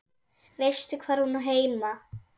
Veistu hvar hún á heima?